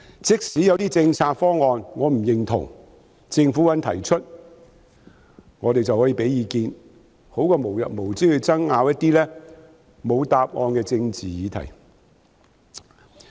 即使我不認同某些政策方案，但政府肯提出，我們便可以提供意見，總好過無日無之地爭拗一些沒有答案的政治議題。